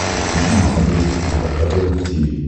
подключи на смотрешке эн эйч кей волд ти ви